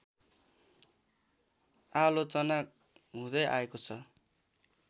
आलोचना हुँदै आएको छ